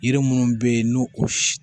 Yiri munnu be ye n'u o